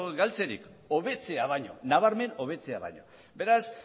galtzerik hobetzea baino nabarmen hobetzea baino beraz